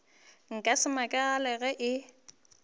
nka se makale ge e